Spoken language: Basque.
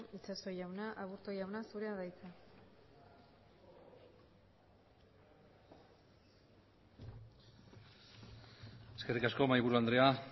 itxaso jauna aburto jauna zurea da hitza eskerrik asko mahaiburu andrea